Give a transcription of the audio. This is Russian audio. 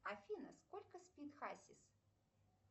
афина сколько спит хасис